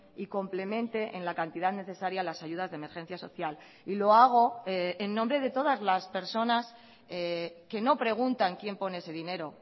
y complemente en la cantidad necesaria las ayudas de emergencia social y lo hago en nombre de todas las personas que no preguntan quién pone ese dinero